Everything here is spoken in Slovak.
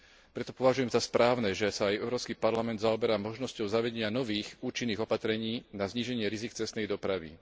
Preto považujem za správne, že sa aj Európsky parlament zaoberá možnosťou zavedenia nových účinných opatrení na zníženie rizík cestnej dopravy.